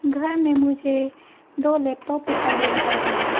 घर में मुझे दो लैपटॉप दिखाई दे रहा है।